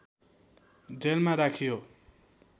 जेलमा राखियो